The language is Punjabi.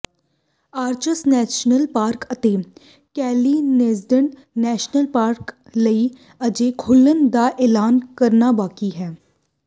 ਆਰਚਜ਼ ਨੈਸ਼ਨਲ ਪਾਰਕ ਅਤੇ ਕੈਨਿਯਨਲੈਂਡਜ਼ ਨੈਸ਼ਨਲ ਪਾਰਕ ਲਈ ਅਜੇ ਖੁੱਲ੍ਹਣ ਦਾ ਐਲਾਨ ਕਰਨਾ ਬਾਕੀ ਹੈ